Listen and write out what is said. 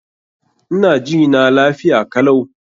Ina jina lafiya kalau.